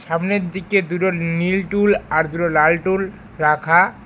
সামনের দিকে দুটো নীল টুল আর দুটো লাল টুল রাখা।